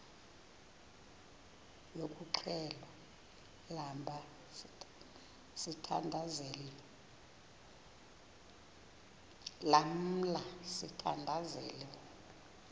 yokuxhelwa lamla sithandazel